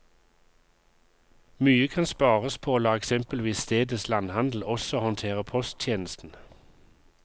Mye kan spares på å la eksempelvis stedets landhandel også håndtere posttjenesten.